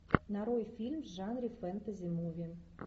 нарой фильм в жанре фэнтези муви